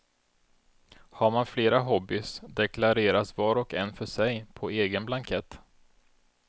Har man flera hobbies deklareras var och en för sig på egen blankett.